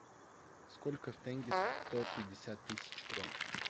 сколько в тенге сто пятьдесят тысяч крон